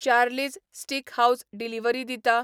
Charlie's Steakhouse delivery दिता